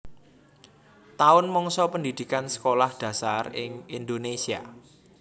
Taun mangsa pendhidhikan Sekolah Dasar ing Indonésia